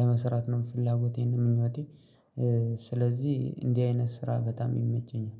ለመስራት ነው ፍላጎቴም ምኞቴ። ስለዚህ እንዲህ አይነት ስራ በጣም ይመቸኛል